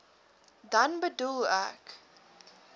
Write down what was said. dan bedoel ek